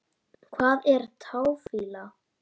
Hvað er táfýla?